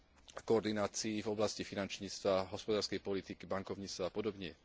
v koordinácii v oblasti finančníctva, hospodárskej politiky, bankovníctva a podobne.